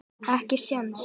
Ekki séns.